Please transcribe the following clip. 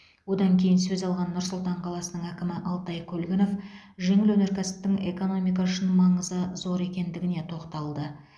одан кейін сөз алған нұр сұлтан қаласының әкімі алтай көлгінов жеңіл өнеркәсіптің экономика үшін маңызы зор екендігіне тоқталды